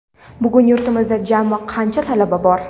Bugun yurtimizda jami qancha talaba bor?.